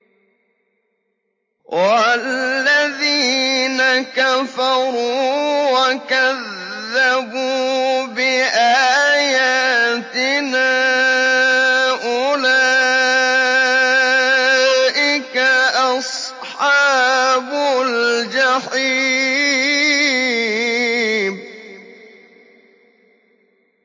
وَالَّذِينَ كَفَرُوا وَكَذَّبُوا بِآيَاتِنَا أُولَٰئِكَ أَصْحَابُ الْجَحِيمِ